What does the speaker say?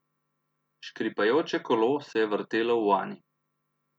Škripajoče kolo se je vrtelo v Ani.